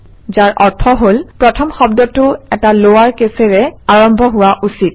যাৰ অৰ্থ হল প্ৰথম শব্দটো এটা লৱাৰ কেচেৰে আৰম্ভ হোৱা উচিত